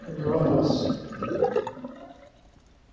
глоннасс